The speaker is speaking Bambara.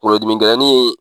Kungolodimi gɛlɛnnin.